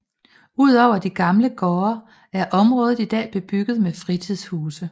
Udover de gamle gårde er området i dag bebygget med fritidshuse